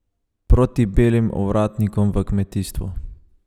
Proti belim ovratnikom v kmetijstvu?